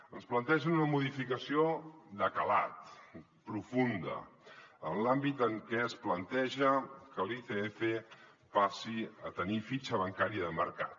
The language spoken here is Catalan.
ens plantegen una modificació de calat profunda en l’àmbit en què es planteja que l’icf passi a tenir fitxa bancària de mercat